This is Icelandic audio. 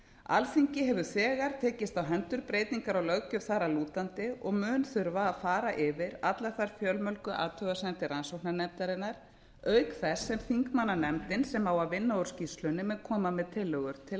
alþingi hefur þegar tekist á hendur breytingar á löggjöf þar að lútandi og mun þurfa að fara yfir allar þær fjölmörgu athugasemdir rannsóknarnefndarinnar auk þess sem þingmannanefndin sem á að vinna úr skýrslunni mun koma með tillögur til